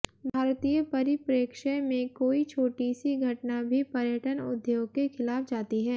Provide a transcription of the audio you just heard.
भारतीय परिप्रेक्ष्य में कोई छोटी सी घटना भी पर्यटन उद्योग के खिलाफ जाती है